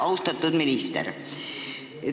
Austatud minister!